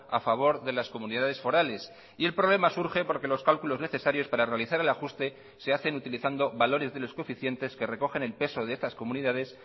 a favor de las comunidades forales y el problema surge porque los cálculos necesarios para realizar el ajuste se hacen utilizando valores de los coeficientes que recogen el peso de estas comunidades